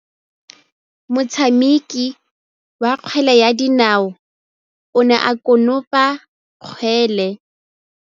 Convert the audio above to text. Motshameki wa kgwele ya dinaô o ne a konopa kgwele.